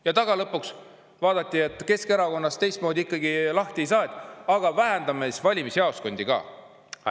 Ja tagalõpuks vaadati, et Keskerakonnast teistmoodi ikkagi lahti ei saa, vähendame siis valimisjaoskonda arvu ka.